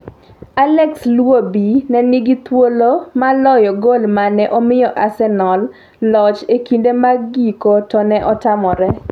Alex Iwobi ne nigi thuolo mar loyo gol mane omiyo Arsenal loch e kinde mag giko to ne otamre.